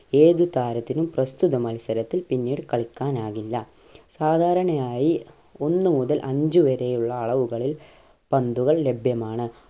ഏത് താരത്തിനും പ്രസ്‌തുത മത്സരത്തിൽ പിന്നീട് കളിക്കാനാകില്ല സാധാരണയായി ഒന്നു മുതൽ അഞ്ച് വരെയുള്ള അളവുകളിൽ പന്തുകൾ ലഭ്യമാണ്